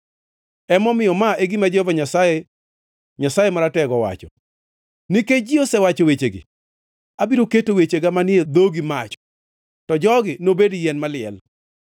Emomiyo ma e gima Jehova Nyasaye, Nyasaye Maratego wacho: “Nikech ji osewacho wechegi, abiro keto wechega manie dhogi mach, to jogi nobed yien maliel.”